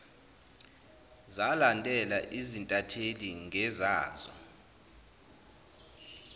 zalandela izintatheli ngezazo